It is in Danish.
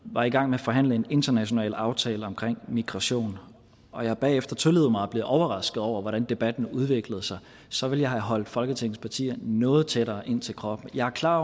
år var i gang med at forhandle en international aftale omkring migration og jeg bagefter tillod mig at blive overrasket over hvordan debatten udviklede sig så ville jeg have holdt folketingets partier noget tættere ind til kroppen jeg er klar